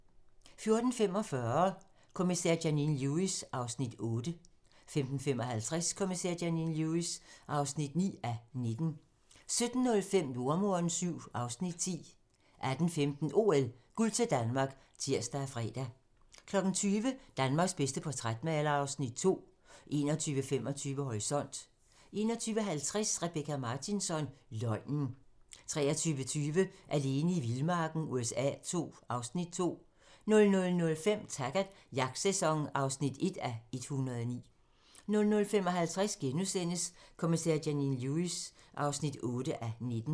14:45: Kommissær Janine Lewis (8:19) 15:55: Kommissær Janine Lewis (9:19) 17:05: Jordemoderen VII (Afs. 10) 18:15: OL: Guld til Danmark (tir og fre) 20:00: Danmarks bedste portrætmaler (Afs. 2) 21:25: Horisont (tir) 21:50: Rebecka Martinsson: Løgnen 23:20: Alene i vildmarken USA II (Afs. 2) 00:05: Taggart: Jagtsæson (1:109) 00:55: Kommissær Janine Lewis (8:19)*